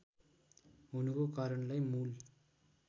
हुनुको कारणलाई मूल